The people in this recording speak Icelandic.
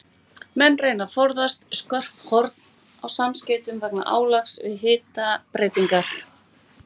Menn reyna að forðast skörp horn á samskeytum vegna álags við hitabreytingar.